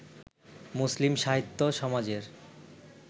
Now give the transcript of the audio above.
মুসলিম সাহিত্য সমাজের-এর